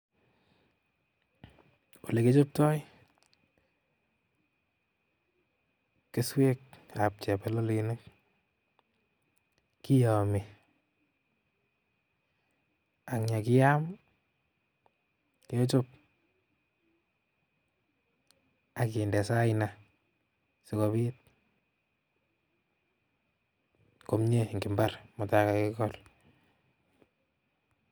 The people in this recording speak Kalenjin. Olekichoptoi keswekab chebololenik kiyomi ak yekiyam kechob akinde saina sikobit komnye en imbar yekaikol.